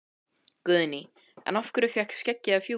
Guðný: En af hverju fékk skeggið að fjúka?